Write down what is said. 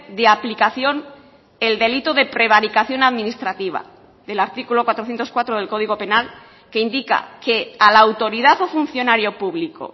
de aplicación el delito de prevaricación administrativa del artículo cuatrocientos cuatro del código penal que indica que a la autoridad o funcionario público